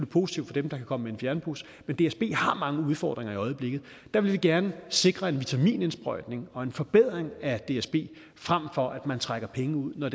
positivt for dem der kan komme med en fjernbus men dsb har mange udfordringer i øjeblikket og der vil vi gerne sikre en vitaminindsprøjtning og en forbedring af dsb frem for at man trækker penge ud når